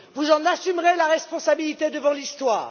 Vous en assumerez la responsabilité devant l'histoire.